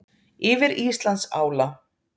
Yfir Íslandsála.